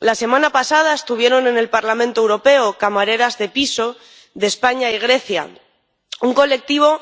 La semana pasada estuvieron en el Parlamento Europeo camareras de piso de España y Grecia, un colectivo